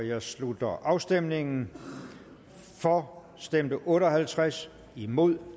jeg slutter afstemningen for stemte otte og halvtreds imod